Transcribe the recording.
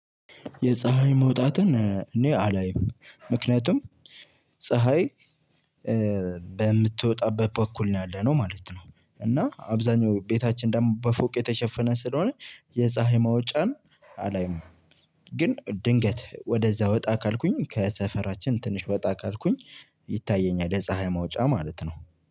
የፀሀይ መውጣትን እኔ አላይም ምክንያቱም ፀሀይ በምትወጣበት በኩል ነው ያለነው ማለት ነው። እና አብዛኛው ቤታችን ደሞ በፎቅ የተሸፈነ ስለሆነ የፀሀይ መውጫን አላይም። ግን ድንገት ወደዛ ወጣ ካልኩኝ ከሰፈራችን ትንሽ ወጣ ካልኩኝ ይታየኛል የፀሀይ መውጫ ማለት ነው።